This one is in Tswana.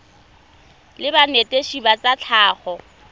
la banetetshi ba tsa tlhago